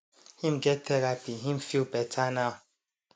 him get therapy him feel better now